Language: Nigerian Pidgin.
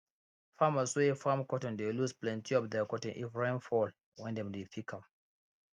farmers wey farm cotton dey lose plenti of their cotton if rain fall wen dem dey pick am